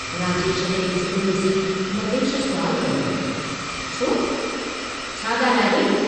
राजेश खे चुप डिसी लतेश सुवालु कयो, छो, छा गाल्हि आहे?